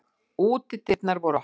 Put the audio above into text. Útidyrnar voru opnar.